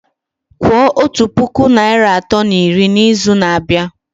Kwuo otu puku naịra atọ na iri n'izu na-abịa!